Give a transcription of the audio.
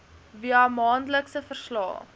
via maandelikse verslae